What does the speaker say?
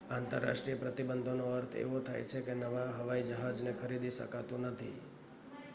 આંતરરાષ્ટ્રીય પ્રતિબંધોનો અર્થ એવો થાય છે કે નવા હવાઈ જહાજને ખરીદી શકાતું નથી